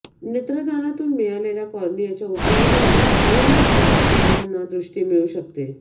नेत्रदानातून मिळालेल्या कॉर्नियाच्या उपयोगाने दोन वा अधिक अंधांना दृष्टी मिळू शकते